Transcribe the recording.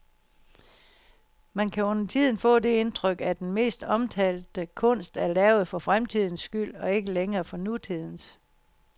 Man kan undertiden få det indtryk, at den mest omtalte kunst er lavet for fremtidens skyld og ikke længere for nutidens.